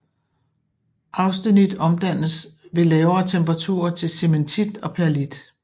Austenit omdannes ved lavere temperaturer til cementit og perlit